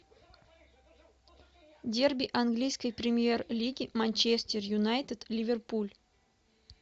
дерби английской премьер лиги манчестер юнайтед ливерпуль